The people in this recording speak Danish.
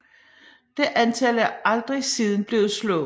Det antal er aldrig siden blevet slået